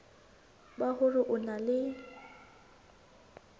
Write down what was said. ba hore o na le